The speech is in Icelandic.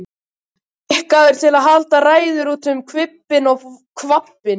Skikkaður til að halda ræður út um hvippinn og hvappinn.